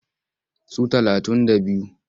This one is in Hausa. Su talatun da biyu.